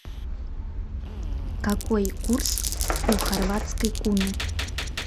какой курс у хорватской куны